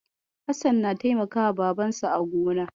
Hassan na taimakawa Babansa a gona.